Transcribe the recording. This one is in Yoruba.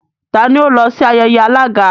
T'ani ó lọ sí ayẹyẹ alága?